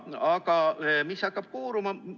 Aga mis hakkab siit kooruma?